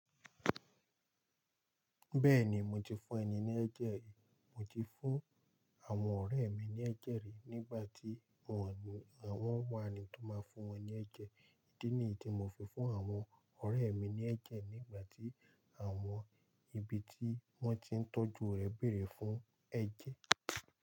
Bẹ́ẹ̀ni, mo ti fún ẹni ní ẹ jẹ́. Mo ti fún àwọn ọ̀rẹ́ mi ní ẹ́jẹ̀ rí nígbà tí wọ́n wá eni tó máa fún wọn ní ẹ́jẹ̀. Ídí nìyí tí mo fi fún àwọn ọ̀rẹ́ mi ní ẹ́jẹ̀ nígbà tí àwọn ibi tí wọ́n ti ń tọ́jú rẹ̀ bèrè fún ẹ́jẹ̀.